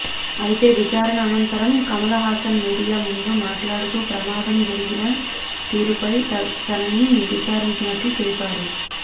అయితే విచారణ అనంతరం కమలహాసన్ మీడియా ముందు మాట్లాడుతూ ప్రమాదం జరిగిన తీరుపై తనని విచారించినట్లు తెలిపాడు